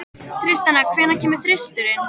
Tristana, hvenær kemur þristurinn?